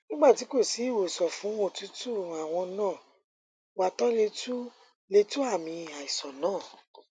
nígbà tí kò sí ìwòsàn fún òtútù àwọn nǹan wà tó lè tu lè tu àmì àìsàn náà